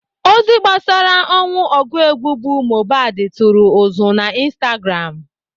Ozi gbasara ọnwụ ọgụ egwu bụ Mohbad tụrụ ụzụ na Instagram.